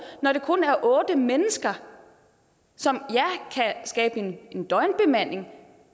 når det kun er otte mennesker som ja kan en døgnbemanding